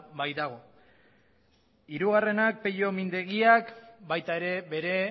baitago hirugarrenak peio mindegiak baita ere bere